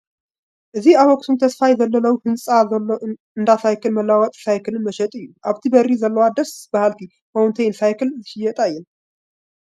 እዚ ኣብ ኣኽሱም ተስፋይ ዘለለዉ ህንፃ ዘሎ እንዳ ሳክልን መለዋወጢ ሳይክልን መሸጢ እዩ፡፡ ኣብቲ በሪ ዘለዎ ደስ በሃልቲ ማውንተይን ሳይክል ዝሽየጣ እየን፡፡